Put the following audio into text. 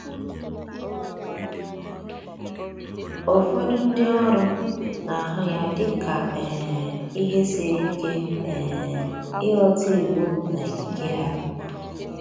Ụfọdụ ndi oru na ahụ ya dị ka um ihe siri ike um ịghọta iwu na ikike ha